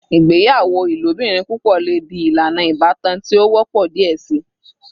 Igbeyawo ilobirin pupọ le di ilana ibatan ti o wọpọ diẹ sii